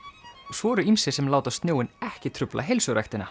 svo eru ýmsir sem láta snjóinn ekki trufla